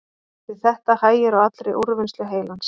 við þetta hægir á allri úrvinnslu heilans